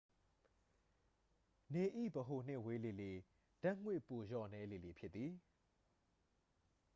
နေ၏ ဗဟိုနှင့် ဝေးလေလေ ဓာတ်ငွေ ပိုလျော့နည်းလေလေ ဖြစ်သည်